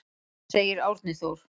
Segir Árni Þór.